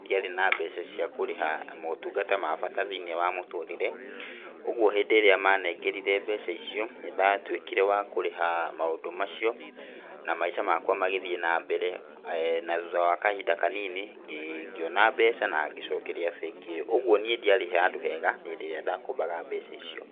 ndiarĩ na mbeca ciakũriha maũtungata ma bata thĩiniĩ wa mũtũrĩre. Ũguo hĩndĩ ĩrĩa manengerire mbeca icio nĩ ndatuĩkire wa kũrĩha maũndũ macaio na maica makwa magĩthiĩ nambere. Na thutha wa kahinda kanini, ngĩona mbeca na ngĩcokeria bengi ĩyo. Ũguo niĩ ndiarĩ handũ hega hĩndĩ ĩrĩa ndakombaga mbeca icio.